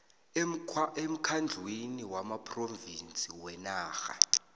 emkhandlwini wamaphrovinsi wenarha